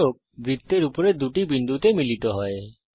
স্পর্শক বৃত্তের উপরে দুটি বিন্দুতে মিলিত হয়